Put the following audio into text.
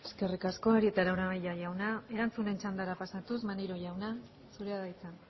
eskerrik asko arieta araunabeña jauna erantzunen txandara pasatuz maneiro jauna zurea da hitza